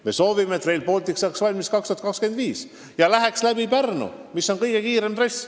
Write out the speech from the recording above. Me soovime, et Rail Baltic saaks valmis 2025. aastal ja kulgeks läbi Pärnu, mis on kõige kiirem trass.